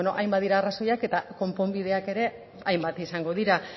ba hainbat dira arrazoiak eta konponbideak ere hainbat izango dira